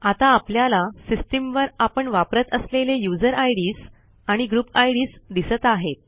आता आपल्याला सिस्टीमवर आपण वापरत असलेले यूझर आयडीएस आणि ग्रुप आयडीएस दिसत आहेत